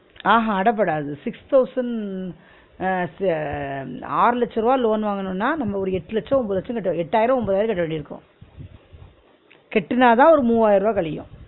ஆஹ் ஹா அடபடாது six thousand ன் அஹ் ~ ஆறு லட்ச ருவா loan வாங்குநோனா நம்ம ஒரு எட்டு லட்சம் ஒன்பது லட்சம் கட்ட எட்டயிரோ ஒன்பதாயிரோ கட்ட வேண்டியிருக்கு கட்டுனாதா ஒரு மூவாயிரம் ருவா கழியும்